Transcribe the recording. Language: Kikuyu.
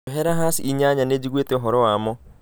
Njohera hass inyanya nĩ njiguĩte ũhoro wamo